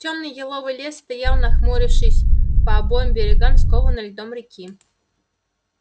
тёмный еловый лес стоял нахмурившись по обоим берегам скованной льдом реки